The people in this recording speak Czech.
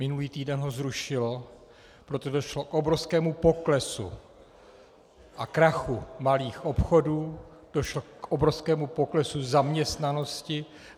Minulý týden ho zrušilo, protože došlo k obrovskému poklesu a krachu malých obchodů, došlo k obrovskému poklesu zaměstnanosti.